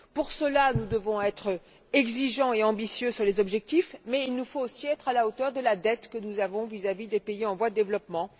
Pour cela, nous devons être exigeants et ambitieux sur les objectifs, mais il nous faut aussi être à la hauteur de la dette que nous avons vis à vis des pays en voie de développement.